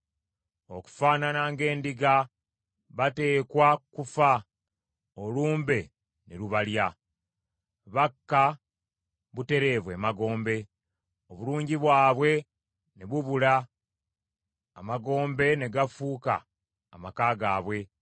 Okufaanana ng’endiga, bateekwa kufa; olumbe ne lubalya. Bakka butereevu emagombe, obulungi bwabwe ne bubula, amagombe ne gafuuka amaka gaabwe.